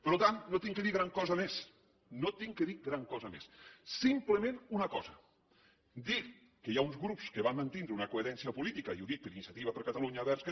per tant no he de dir gran cosa més no he de dir gran cosa més simplement una cosa dir que hi ha uns grups que van mantindre una coherència política i ho dic per iniciativa per catalunya verds que